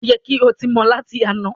o yẹ kí o tí mọ lati àna!